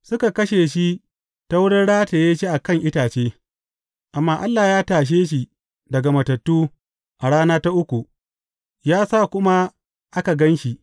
Suka kashe shi ta wurin rataye shi a kan itace, amma Allah ya tashe shi daga matattu a rana ta uku, ya sa kuma aka gan shi.